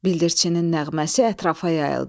Bildirçinin nəğməsi ətrafa yayıldı.